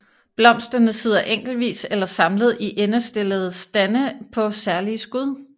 Blomsterne sidder enkeltvis eller samlet i endestillede stande på særlige skud